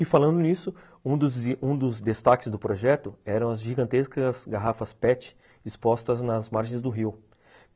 E falando nisso, um dos um dos destaques do projeto eram as gigantescas garrafas pete expostas nas margens do rio.